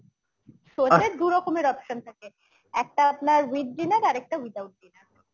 show তে দু রকমের option থাকে একটা আপনার with dinner আরেকটা without dinner